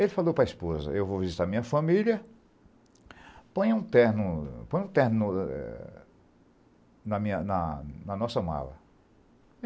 Ele falou para a esposa, eu vou visitar a minha família, põe um terno, põe um terno, é na minha, na nossa mala.